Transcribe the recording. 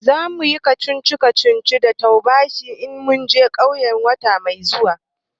Zamuyi wasan kacici kacici da taubashai na in mun je ƙauye wata mai zuwa